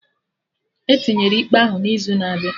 Etinyere ikpe ahụ n'izu na-abịa